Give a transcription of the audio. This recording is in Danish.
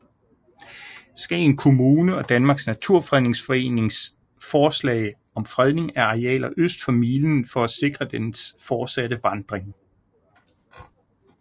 Skagen Kommune og Danmarks Naturfredningsforening forslag om fredning af arealer øst for milen for at sikre dens fortsatte vandring